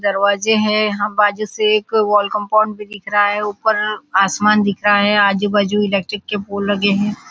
दरवाजे हैं यहाँ बाजू से वॉल कंपाउंड दिख रहा है ऊपर आसमान दिख रहा है आजू बाजु इलेक्ट्रिक के पोल लगे हैं।